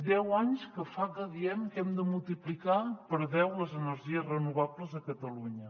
deu anys que fa que diem que hem de multiplicar per deu les energies renovables a catalunya